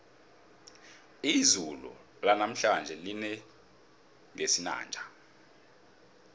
izulu lanamhlanje lina ngesinanja